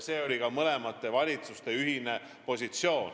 See oli ka mõlema valitsuse ühine positsioon.